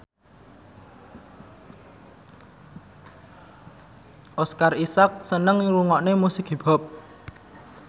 Oscar Isaac seneng ngrungokne musik hip hop